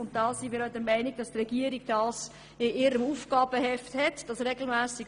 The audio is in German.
Wir sind auch der Meinung, dass dies im Aufgabenheft der Regierung steht.